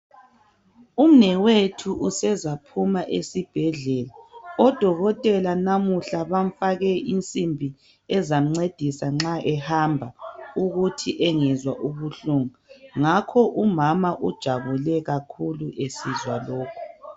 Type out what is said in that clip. Umnewethu usezaphuma esibhedlela odokotela namuhla bamfake insimbi ezamncedisa nxa ehamba ukuthi engezwa ubuhlungu ngakho umama ujabule kakhulu esizwa lokho.